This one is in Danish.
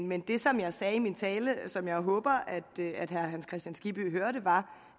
men det som jeg sagde i min tale og som jeg håber at herre hans kristian skibby hørte var